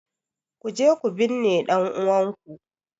Kuje ku binne ɗan'uwanku!